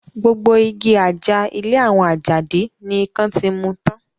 Gbogbo igi àjà ilé àwọn Àjàdí ni ikán ti mu tán